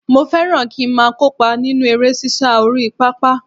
Mo fẹ́ràn kí ń máa kópa nínú eré sísá orí pápá